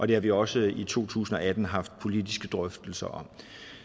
det har vi også i to tusind og atten har haft politiske drøftelser